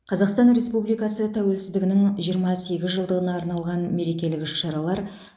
қазақстан республикасы тәуелсіздігінің жиырма сегіз жылдығына арналған мерекелік іс шаралар